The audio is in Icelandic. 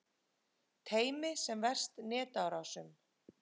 Teymi sem verst netárásum